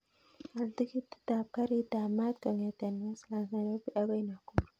Al tiketit ap karit ap maat kongeten westlands nairobi akoi nakuru